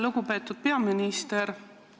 Lugupeetud peaminister!